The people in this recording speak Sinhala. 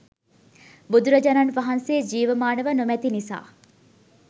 බුදුරජාණන් වහන්සේ ජීවමානව නොමැති නිසා